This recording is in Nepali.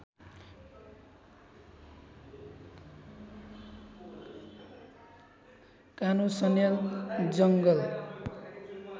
कानु सन्याल जङ्गल